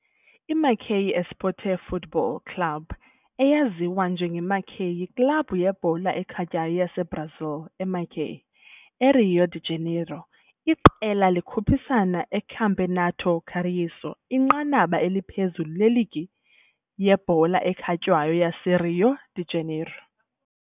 IMacaé Esporte Futebol Clube, eyaziwa njengeMacaé, yiklabhu yebhola ekhatywayo yaseBrazil eMacaé, eRio de Janeiro. Iqela likhuphisana eCampeonato Carioca, inqanaba eliphezulu leligi yebhola ekhatywayo yaseRio de Janeiro.